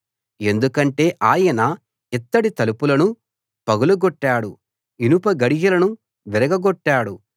ఎందుకంటే ఆయన ఇత్తడి తలుపులను పగలగొట్టాడు ఇనపగడియలను విరగగొట్టాడు